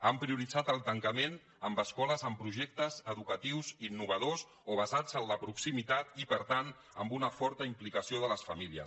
han prioritzat el tancament en escoles amb projectes educatius innovadors o basats en la proximitat i per tant amb una forta implicació de les famílies